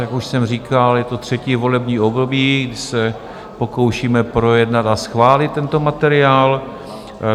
Jak už jsem říkal, je to třetí volební období, kdy se pokoušíme projednat a schválit tento materiál.